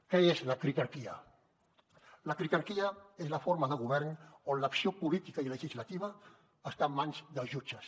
què és la critarquia la critarquia és la forma de govern on l’acció política i legislativa està en mans de jutges